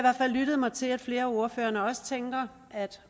lyttet mig til at flere af ordførerne også tænker at